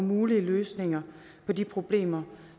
mulige løsninger på de problemer